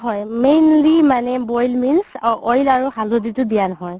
হয় mainly মানে boil means oil আৰু হালধিতো দিয়া নহয়